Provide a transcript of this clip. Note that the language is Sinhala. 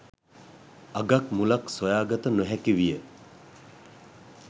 අගක් මුලක් සොයාගත නොහැකි විය.